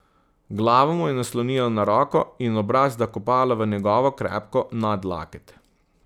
Glavo mu je naslonila na roko in obraz zakopala v njegovo krepko nadlaket.